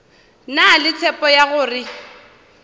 na le tshepo ya gore